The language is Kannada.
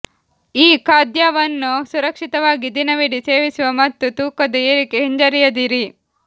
ಈ ಖಾದ್ಯವನ್ನು ಸುರಕ್ಷಿತವಾಗಿ ದಿನವಿಡೀ ಸೇವಿಸುವ ಮತ್ತು ತೂಕದ ಏರಿಕೆ ಹಿಂಜರಿಯದಿರಿ